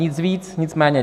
Nic víc, nic méně.